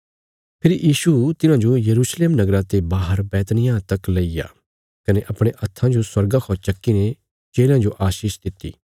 फेरी यीशु तिन्हाजो यरूशलेम नगरा ते बाहर बैतनिय्याह तक लैईया कने अपणे हत्थां जो स्वर्गा खौ चक्की ने चेलयां जो आशीष दित्ति